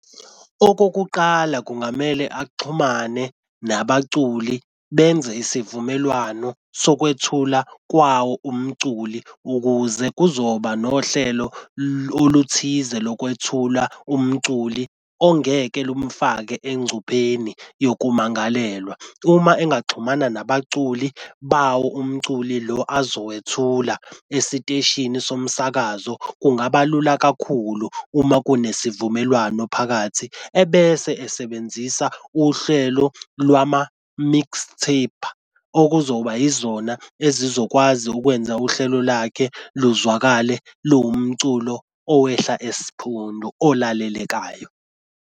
Okokuqala kungamele axhumane nabaculi benze isivumelwano sokwethula kwawo umculi ukuze kuzoba nohlelo oluthize lokwethula umculi ongeke lumfake engcupheni yokumangalelwa. Uma engaxhumana nabaculi bawo umculi lo azowethula esiteshini somsakazo kungaba lula kakhulu uma kunesivumelwano phakathi ebese esebenzisa uhlelo lwama-mix tape okuzoba yizona ezizokwazi ukwenza uhlelo lakhe luzwakale luwumculo owehla esiphundu olalelekayo.